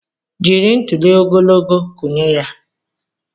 Jiri ntuli ogologo kụnye ya!